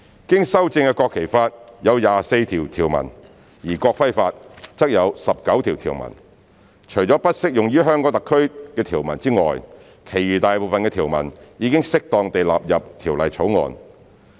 經修正的《國旗法》有24項條文，而《國徽法》則有19項條文。除了不適用於香港特區的條文外，其餘大部分的條文已適當地納入《條例草案》。